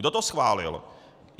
Kdo to schválil?